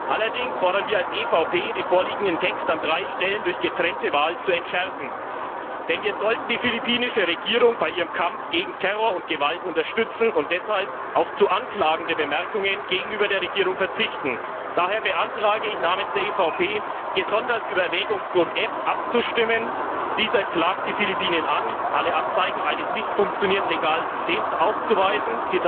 Allerdings fordern wir als EVP, den vorliegenden Text an drei Stellen durch getrennte Abstimmung zu entschärfen, denn wir sollten die philippinische Regierung bei ihrem Kampf gegen Terror und Gewalt unterstützen und deshalb auf zu anklagende Bemerkungen gegenüber der Regierung verzichten. Daher beantrage ich im Namen der EVP, gesondert über Erwägungsgrund F abzustimmen. Dieser klagt die Philippinen an, Zitat alle Anzeichen eines nicht funktionierenden legalen Systems aufzuweisen.